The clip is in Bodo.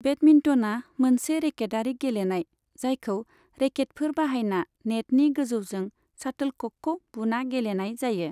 बेडमिन्टना मोनसे रेकेटारि गेलेनाय, जायखौ रेकेटफोर बाहायना नेटनि गोजौजों शाटोल क'कखौ बुना गेलेनाय जायो।